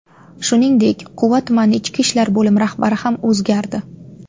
Shuningdek, Quva tumani Ichki ishlar bo‘limi rahbari ham o‘zgardi.